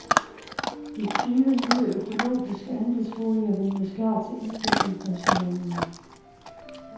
De tyve nye økologiske andelsboliger ventes klar til indflytning første januar.